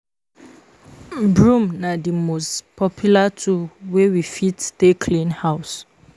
Broom na di most popular tool wey we fit take clean house